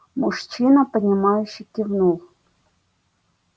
мужчина понимающе кивнул